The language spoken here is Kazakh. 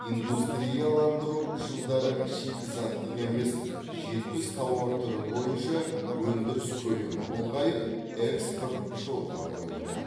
индустрияландыру жылдары шикізаттық емес жетпіс тауар түрі бойынша өндіріс көлемі ұлғайып экспорт жолға қойылды